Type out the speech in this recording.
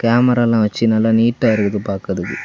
Camera எல்லாம் வச்சு நல்லா நீட்டா இருக்குது பார்க்கிறதுக்கு.